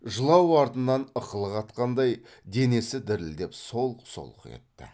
жылау артынан ықылық атқандай денесі дірілдеп солқ солқ етті